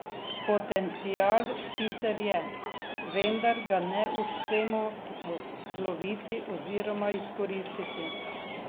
Potencial sicer je, vendar ga ne uspemo poloviti oziroma izkoristiti.